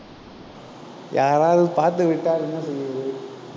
யாராவது பார்த்து விட்டால், என்ன செய்வது